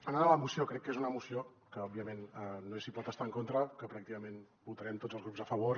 anant a la moció crec que és una moció que òbviament no s’hi pot estar en contra que pràcticament hi votarem tots els grups a favor